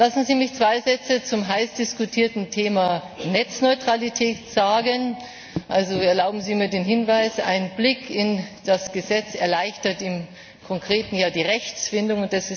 Lassen Sie mich zwei Sätze zum heiß diskutierten Thema Netzneutralität sagen. Erlauben Sie mir den Hinweis Ein Blick in das Gesetz erleichtert im Konkreten ja die Rechtsfindung.